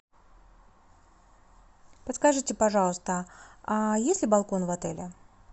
подскажите пожалуйста а есть ли балкон в отеле